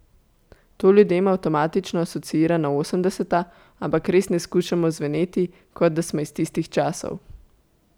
To ljudem avtomatično asociira na osemdeseta, ampak res ne skušamo zveneti, kot da smo iz tistih časov.